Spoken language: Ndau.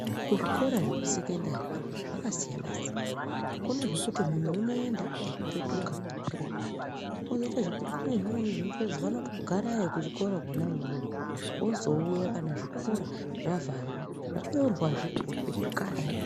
Kuzvikora zvekusekendari zvakasiyana -siyana. Kune zvekuti munthu unoenda eipetuka kai kwake, kwozoita zvekuti kune zvimweni zvinotozi vanotogareyo kuchikora kwona iyoyo vozouya kana zvikora zvavharwa. Zvabeurwazve ,vopetukazve.